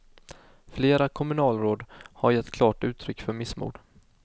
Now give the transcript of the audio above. Flera kommunalråd har gett klart uttryck för missmod.